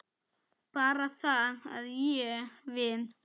Bara það að ég. við.